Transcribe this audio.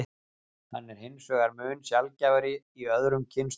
Hann er hins vegar mun sjaldgæfari í öðrum kynstofnum.